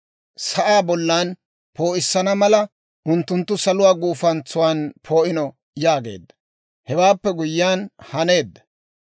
sa'aa bollan poo'issana mala unttuttu saluwaa guufantsuwaan poo'ino» yaageedda; hewaappe guyyiyaan haneedda.